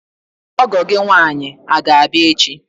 Ọgọ gị nwaanyi aga abịa echi?